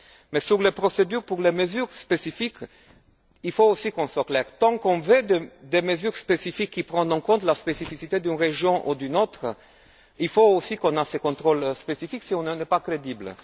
Mais sur les procédures pour les mesures spécifiques, il faut aussi qu'on soit clairs tant qu'on veut des mesures spécifiques qui prennent en compte la spécificité d'une région ou d'une autre, il faut aussi qu'on ait un contrôle spécifique, sinon on n'est pas crédibles.